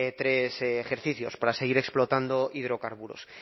tres ejercicios para seguir explotando hidrocarburos